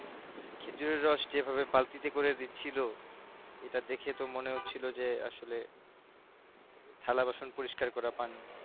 খেজুরের রস যে ভাবে বালতিতে করে দিছিলো যেটা দেখে যে মনে হচ্ছিলো আসলে থালা বাসন পরিষ্কার করা পানি